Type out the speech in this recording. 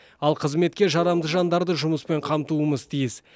ал қызметке жарамды жандарды жұмыспен қамтуымыз тиіс